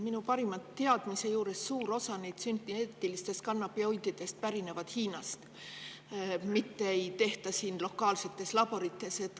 Minu parima teadmise juures suur osa neist sünteetilistest kannabinoididest pärineb Hiinast, mitte ei tehta neid siin lokaalsetes laborites.